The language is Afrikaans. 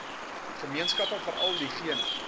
gemeenskappe veral diegene